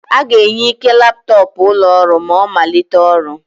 A ga-enye Ike laptọọpụ ụlọ ọrụ ma ọ malite ọrụ.